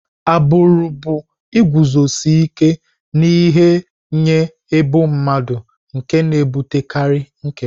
Agbụrụ bụ iguzosi ike n'ihe nye ebo mmadụ nke na-ebutekarị nkewa.